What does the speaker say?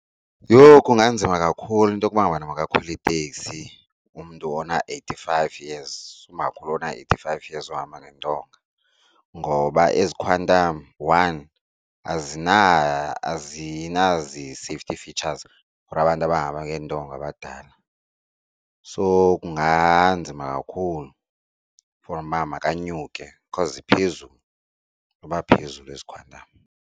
Yho! Kunganzima kakhulu into yokuba ngabana makakhwele iteksi umntu ona-eight-five years, umakhulu ona-eighty-five years ohamba ngentonga. Ngoba ezi khwantam one, azinazi-safety features for abantu abahamba ngeentonga abadala. So kunganzima kakhulu for uba makanyukele because iphezulu noba phezulu ezi khwantam.